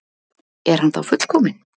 Er hann þá fullkominn?